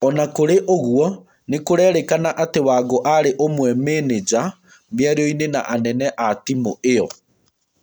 Ona kũrĩ ũguo, nĩkũrerĩkana atĩ Wangũarĩ ũmwe mĩnĩnja mĩaranionĩ na anene atimu ĩo.